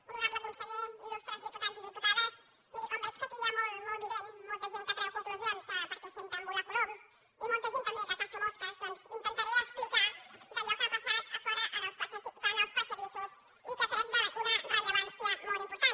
honorable conseller il·lustres diputats i diputades miri com veig que aquí hi ha molt vident molta gent que treu conclu sions perquè senten volar coloms i molta gent també que caça mosques doncs intentaré explicar allò que ha passat a fora en els passadissos i que crec d’una rellevància molt important